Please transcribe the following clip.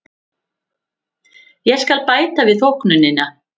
Ég skal bæta við þóknunina.